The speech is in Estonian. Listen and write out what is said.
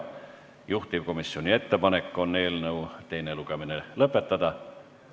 Juhtivkomisjoni ettepanek on eelnõu teine lugemine lõpetada.